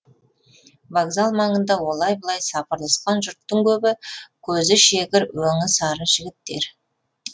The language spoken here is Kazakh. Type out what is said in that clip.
вокзал маңында олай бұлай сапырылысқан жұрттың көбі көзі шегір өңі сары жігіттер